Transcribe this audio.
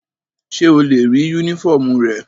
Ṣe o le rii unifọmú rẹ?